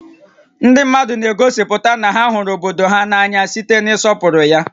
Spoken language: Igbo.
Ndị mmadụ na-egosipụta na ha hụrụ obodo há n'anya site n'ịsọpụrụ ya